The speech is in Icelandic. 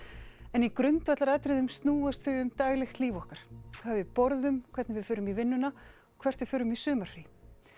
en í grundvallaratriðum snúast þau um daglegt líf okkar hvað við borðum hvernig við förum í vinnuna hvert við förum í sumarfrí